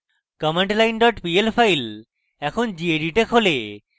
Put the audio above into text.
commandline pl file এখন gedit এ খোলে